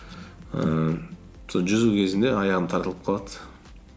ііі сол жүзу кезінде аяғым тартылып қалады